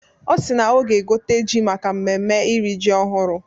Ọ si na ọ ga-egote ji maka mmemme iri ji ọhụrụ.